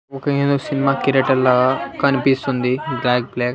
ఒక ఏదో సినిమా కిరీటలా కనిపిస్తుంది బ్లాక్ బ్లాక్ .